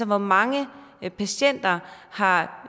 hvor mange patienter har